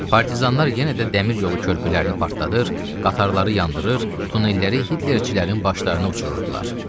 Partizanlar yenə də dəmir yolu körpülərini partladır, qatarları yandırır, tunelləri Hitlerçilərin başlarına uçururdular.